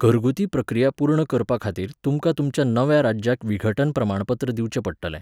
घरगुती प्रक्रिया पूर्ण करपाखातीर तुमकां तुमच्या नव्या राज्याक विघटन प्रमाणपत्र दिवचें पडटलें.